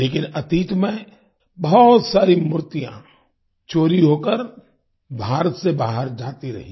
लेकिन अतीत में बहुत सारी मूर्तियां चोरी होकर भारत से बाहर जाती रहीं